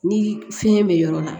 Ni fiɲɛ be yɔrɔ la